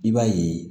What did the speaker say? I b'a ye